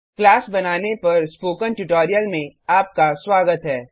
class बनाने पर spoken tutorial में आपका स्वागत है